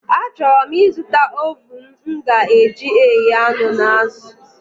A chọrọ m ị zụta ovuun m ga eji eghe anụ na azụ